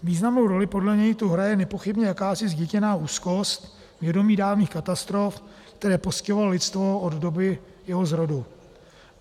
Významnou roli podle něj tu hraje nepochybně jakási zděděná úzkost, vědomí dávných katastrof, které postihovaly lidstvo od doby jeho zrodu.